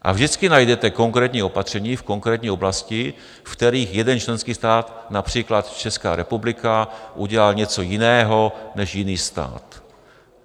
A vždycky najdete konkrétní opatření v konkrétní oblasti, ve kterých jeden členský stát, například Česká republika, udělal něco jiného než jiný stát.